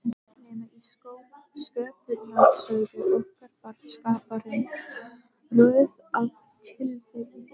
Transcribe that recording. Nema í Sköpunarsögu okkar var Skaparinn röð af tilviljunum.